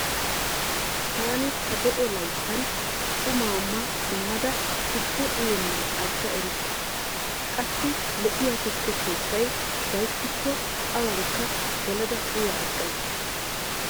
Taani ta de'o layttan qumaa ma simmada tukke uyennan agga erikke. Qassi lo'iya tukke keettay gayttikko awaanikka gelada uya aggays.